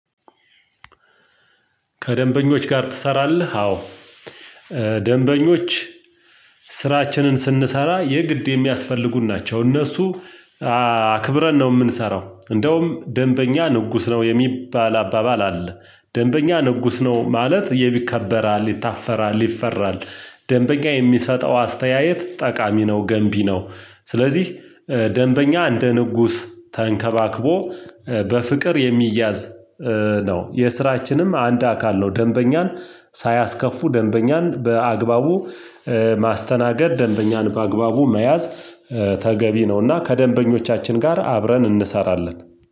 ከደንበኞች ጋር ትሰራለህ? አዎ ደንበኞች ስራችንን ስንሰራ የግድ የሚያስፈልጉን ናቸው እነሱ አክብረን ነው የምንሰራው። እንደውም ደንበኛ ንጉስ ነው የሚባል አባባል አለ ደንበኛ ንጉስ ነው ማለት ይከበራ ይታፈራል ይፈራል። ደንበኛ የሚሰጠው አስተያየት ጠቃሚ ነው ገንቢ ነው። ስለዚህ ደንበኛ እንደ ንጉስ ተንከባክቦ በፍቅር የሚያዝ ነው የስራችንም አንድ አካል ነው። ደንበኛን ሳያስከፉ ደንበኛን በአግባቡ ማስተናገድ ደንበኛን በአግባቡ መያዝ ተገቢ ነውና ከደንበኞቻችን ጋር አብረን እንሰራለን።